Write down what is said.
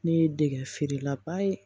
Ne ye dege feerelaba ye